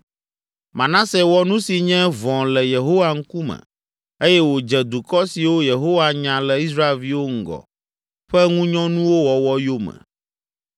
Manase wɔ nu si nye vɔ̃ le Yehowa ŋkume eye wòdze dukɔ siwo Yehowa nya le Israelviwo ŋgɔ ƒe ŋunyɔnuwo wɔwɔ yome.